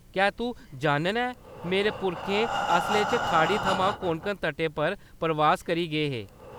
क्या तूं जानना ऐं, मेरे पुरखे असलै च खाड़ी थमां कोंकण तटै पर परवास करी गे हे?